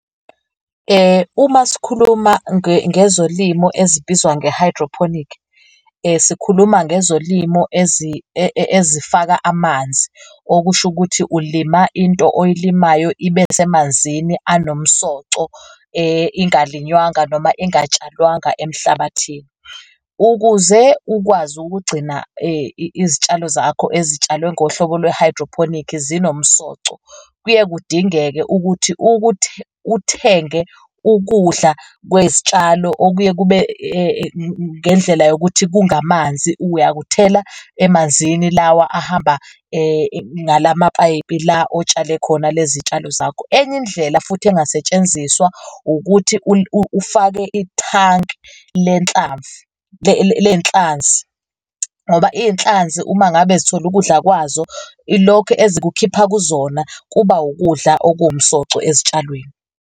Uma sikhuluma ngezolimo ezibizwa nge-hydroponic sikhuluma ngezolimo ezifaka amanzi, okusho ukuthi ulima into oyilimayo ibe semanzini anomsoco, ingalinywanga noma ingatshalwanga emhlabathini. Ukuze ukwazi ukugcina izitshalo zakho ezitshalwe ngohlobo lwe-hydroponic zinomsoco, kuye kudingeke ukuthi uthenge ukudla kwezitshalo okuye kube ngendlela yokuthi kungamanzi uyakuthela emanzini lawa ahamba ngalamapayipi la otshale khona lezi tshalo zakho. Enye indlela futhi engasetshenziswa ukuthi ufake ithanki lenhlanvu lenhlanzi ngoba iy'nhlanzi uma ngabe zithole ukudla kwazo, ilokhu ezikukhipha kuzona, kuba ukudla okuwumsoco ezitshalweni.